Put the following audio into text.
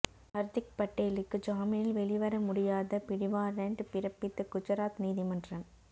ஹர்திக் பட்டேலுக்கு ஜாமீனில் வெளிவர முடியாத பிடிவாரண்ட் பிறப்பித்த குஜராத் நீதிமன்றம்